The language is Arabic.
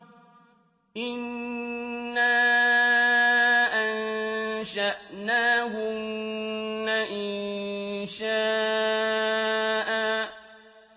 إِنَّا أَنشَأْنَاهُنَّ إِنشَاءً